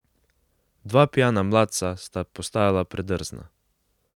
Dva pijana mladca sta postajala predrzna.